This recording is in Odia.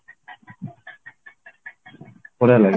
ବଢିଆ ଲାଗେ